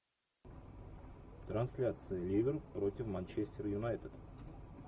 трансляция ливер против манчестер юнайтед